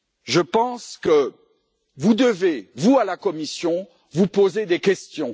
Je pense que vous devez, à la Commission, vous poser des questions.